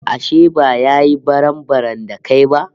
Ashe ba ya yi barambaram da kai ba?